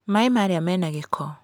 Maaĩ marĩa mena gĩko.